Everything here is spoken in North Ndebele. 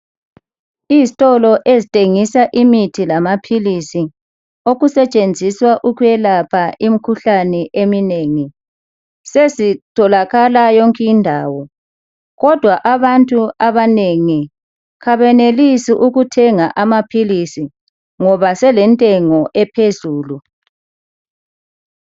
Izitolo ezithengisa imithi lamaphilisi okusetshenziswa ukwelapha imikhuhlane eminengi. Sezitholakala yonke indawo kodwa abantu abanengi kabenelisi ukuthenga amaphilisi ngoba selentengo ephezulu.